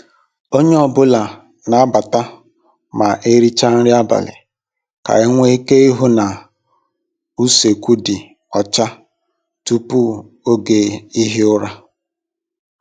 Onye ọ bụla n'abata ma ericha nri abalị ka enwe ike ihu na usekwu dị ọcha tupu oge ihi ụra.